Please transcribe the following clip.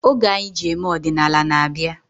Oge anyi ji eme odinala n-abịa